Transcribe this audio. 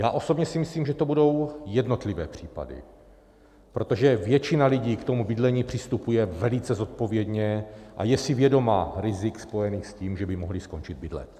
Já osobně si myslím, že to budou jednotlivé případy, protože většina lidí k tomu bydlení přistupuje velice zodpovědně a je si vědoma rizik spojených s tím, že by mohli skončit bydlet.